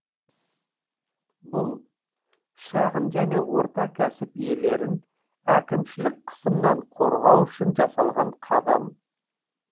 бұл шағын және орта кәсіп иелерін әкімшілік қысымнан қорғау үшін жасалған қадам